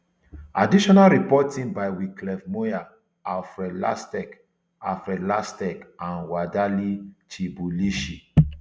additional reporting by wycliffe muia alfred lasteck alfred lasteck and wedaeli chibelushi